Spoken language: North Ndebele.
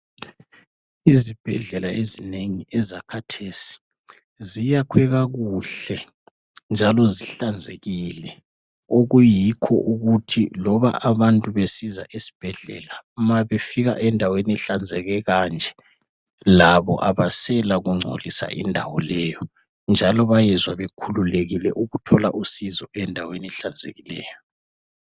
Izibhedlela ezinengi ezakhathesi ziyakhwe kakuhle njalo zihlanzekile, okuyikho ukuthi loba abantu besiza esibhedlela, mabefika endaweni ehlanzeke kanje labo abasela kungcolisa indawo leyo, njalo bayezwa bekhululekile ukuthola usizo endaweni ehlanzekileyo.